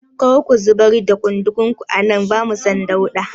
Kar ku yar da ƙunzugun ku a nan, bamu son dauɗa.